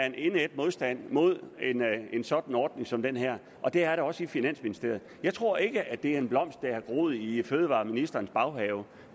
en indædt modstand mod en sådan ordning som den her og det er der også i finansministeriet jeg tror ikke at det er en blomst der har groet i fødevareministerens baghave